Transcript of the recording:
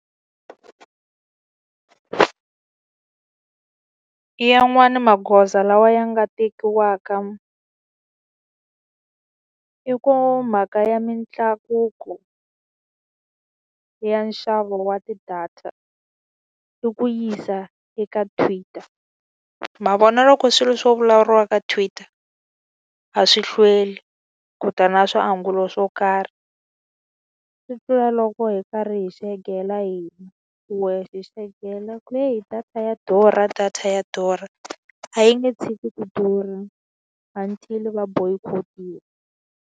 Yanwani magoza lawa ya nga tekiwaka i ku mhaka ya mintlakuko ya nxavo wa ti-data i ku yisa eka Twitter. Ma vona loko swilo swo vulavuriwa ka Twitter a swi hlweli ku ta na swiangulo swo karhi. Swi tlula loko hi karhi hi xegela hi wehe, hi xegela hi ku heyi data ya durha data ya durha. A yi nge tshiki ku durha until-i va boycott-iwa.